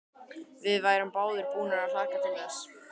Við værum báðar búnar að hlakka til þess.